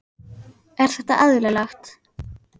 Er þetta eðlilegt?